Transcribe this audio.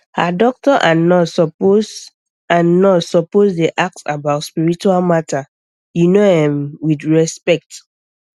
ah doctor and nurse suppose and nurse suppose dey ask about spiritual matter you know erm with respect